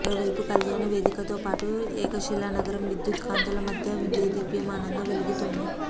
మరోవైపు కల్యాణ వేదికతోపాటు ఏకశిలానగరం విద్యుత్ కాంతుల మధ్య దేదీప్యమానంగా వెలుగొందుతోంది